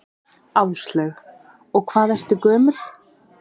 Áslaug: Og hvað ertu gömul?